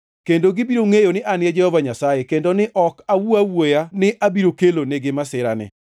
Kendo gibiro ngʼeyo ni An e Jehova Nyasaye, kendo ni ne ok awuo awuoya ni abiro kelo nigi masirani.